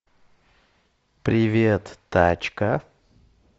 привет тачка